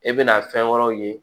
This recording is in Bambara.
E bɛna fɛn wɛrɛw ye